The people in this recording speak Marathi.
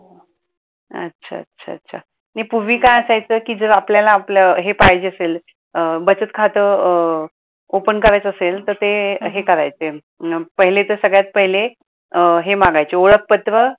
अच्छा अच्छा अच्छा नाही पूर्वी काय असायचं कि जर आपल्याला आपल हे पाहिजे असेल बचत खात अं open करायचं असेल तर ते हे करायचे, पाहुले तर सगळ्यात पहिले अह हे मागायचे ओळखपत्र